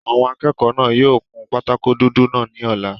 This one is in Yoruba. Àwọn akẹ́kọ̀ọ́ náà yóò kun pátákó dúdú náà ní ọ̀la